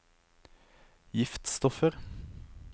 giftstoffer